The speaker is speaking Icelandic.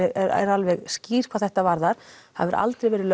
alveg skýr hvað þetta varðar það hefur aldrei verið